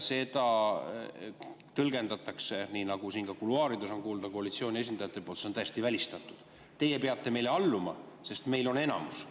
Seda tõlgendatakse nii, nagu siin ka kuluaarides on kuulda koalitsiooni esindajate poolt, et see on täiesti välistatud, kuna teie peate meile alluma, sest meil on enamus.